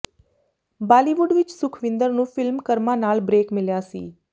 ਬਾਲੀਵੁੱਡ ਵਿੱਚ ਸੁਖਵਿੰਦਰ ਨੂੰ ਫ਼ਿਲਮ ਕਰਮਾ ਨਾਲ ਬਰੇਕ ਮਿਲਿਆ ਸੀ